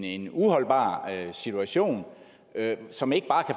en uholdbar situation som ikke bare